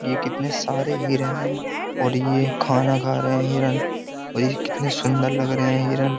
ये कितने सारे हिरण हैं और ये खाना खा रहे हैं हिरण और ये कितने सुंदर लग रहे हैं हिरण --